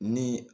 Ni